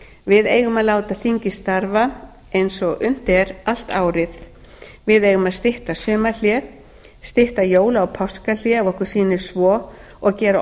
við eigum að láta þingið starfa eins og unnt er allt árið við eigum að stytta sumarhlé stytta jóla og páskahlé ef okkur sýnist svo og gera